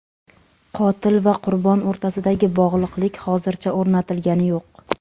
Qotil va qurbon o‘rtasidagi bog‘liqlik hozircha o‘rnatilgani yo‘q.